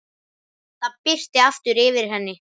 Það birti aftur yfir henni.